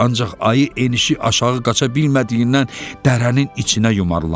Ancaq ayı enişi aşağı qaça bilmədiyindən dərənin içinə yumalandı.